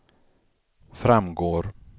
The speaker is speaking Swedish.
framgår